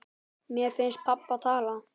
Mér finnst pabbi tala.